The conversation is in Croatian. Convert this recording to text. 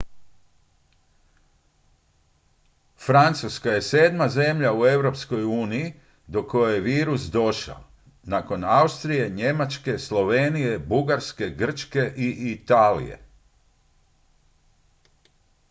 francuska je sedma zemlja u europskoj uniji do koje je virus došao nakon austrije njemačke slovenije bugarske grčke i italije